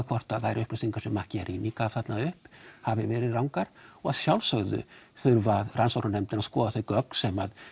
hvort að þær upplýsingar sem Macchiarini gaf þarna upp hafi verið rangar og að sjálfsögðu þurfa rannsóknarnefndir að skoða þau gögn sem